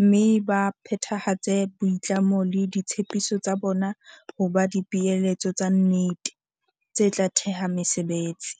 mme ba phethahatse boitlamo le ditshepiso tsa bona ho ba dipeeletso tsa nnete, tse tla theha mesebetsi.